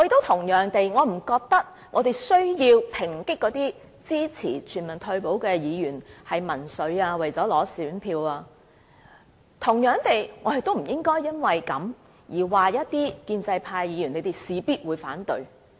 同樣地，我不認為我們需要抨擊那些支持全民退保的議員是民粹主義或只是為了取得選票而支持，而同樣地，我們亦不應該因此而說一些建制派議員必定會反對。